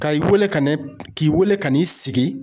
Ka i wele ka na k'i wele ka n'i sigi